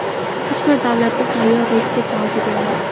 Hech bir davlatda tayyor retsept mavjud emas.